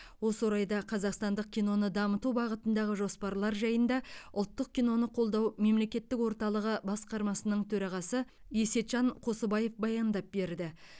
осы орайда қазақстандық киноны дамыту бағытындағы жоспарлар жайында ұлттық киноны қолдау мемлекеттік орталығы басқармасының төрағасы есетжан қосыбаев баяндап берді